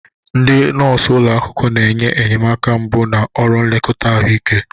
Ndị nọọsụ ụlọ akwụkwọ na-enye enyemaka mbụ na ọrụ nlekọta ahụike.